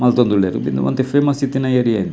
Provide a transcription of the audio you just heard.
ಮಲ್ತೊಂದು ಉಲ್ಲೆರ್ ಉಂದು ಒಂತೆ ಫೇಮಸ್ ಇತ್ತಿನ ಏರಿಯ ಉಂದು.